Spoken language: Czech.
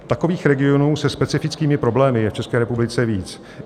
Takových regionů se specifickými problémy je v České republice víc.